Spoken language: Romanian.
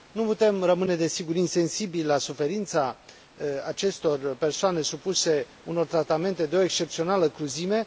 Nu putem rămâne, desigur, insensibili la suferința acestor persoane supuse unor tratamente de o excepțională cruzime.